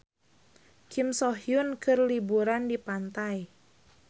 Kim So Hyun keur liburan di pantai